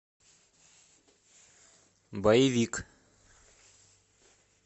боевик